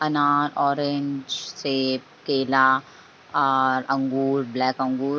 अनार ऑरेंज सेब केला और अंगूर ब्लैक अंगूर --